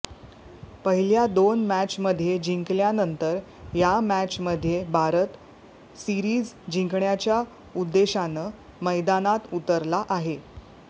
पहिल्या दोन मॅचमध्ये जिंकल्यानंतर या मॅचमध्ये भारत सीरिज जिंकण्याच्या उद्देशानं मैदानात उतरला आहे